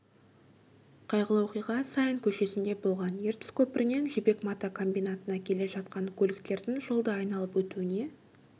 қайғылы оқиға саин көшесінде болған ертіс көпірінен жібек мата комбинатына келе жатқан көліктердің жолды айналып өтуіне